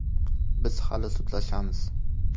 Biz hali sudlashamiz.